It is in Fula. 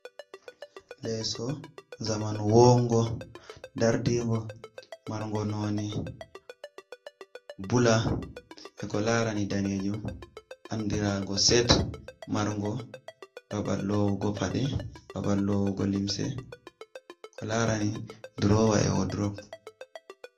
Leso zamanu wongo dardigo marngo none bula je ko larani danejum, andirago set marngo babal lowugo paɗe, babal lowugo limse, ko larani drowa e wordrop.